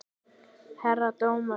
Herra dómari!